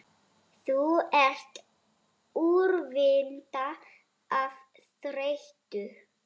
Þú ert úrvinda af þreytu